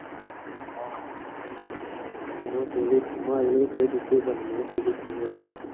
মই ফেৰীত মই আজিলৈকে ফেৰীত উঠিয়ে পোৱা নাই, মইও ফেৰীত উঠিম ৰ এদিন।